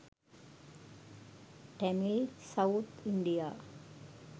tamil south india